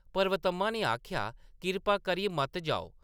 ” पर्वतम्मा ने आखेआ, “कृपा करियै मत जाओ।